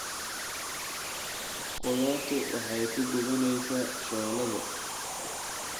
Qudaartu waxay ku gubanaysaa shooladda.